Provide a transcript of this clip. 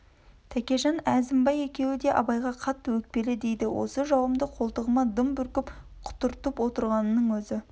тәкежан әзімбай екеуі де абайға қатты өкпелі дейді осы жауымды қолтығына дым бүркіп құтыртып отырғанның өзі